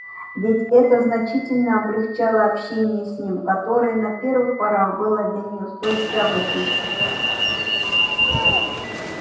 ведь это значительно облегчало общение с ним которое на первых порах было для неё столь тягостным